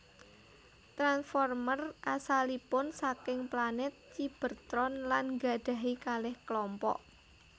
Transformers asalipun saking planet Cybertron lan nggadhahi kalih klompok